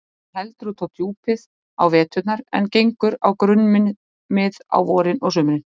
Hún heldur út á djúpið á veturna en gengur á grunnmið á vorin og sumrin.